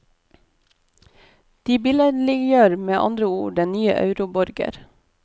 De billedliggjør med andre ord den nye euroborger.